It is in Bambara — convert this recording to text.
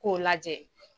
K'o lajɛ